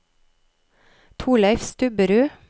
Torleiv Stubberud